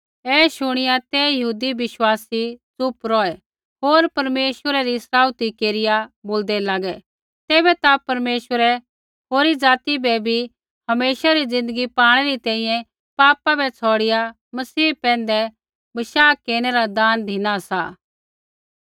ऐ शुणिआ ते यहूदी बिश्वासी च़ुप रौहै होर परमेश्वरै री सराउथी केरिआ बोलदै लागै तैबै ता परमेश्वरै होरी ज़ाति बै बी हमेशा री ज़िन्दगी पाणै री तैंईंयैं पापा बै छ़ौड़िया मसीह पैंधै बशाह केरनै रा दान धिना सा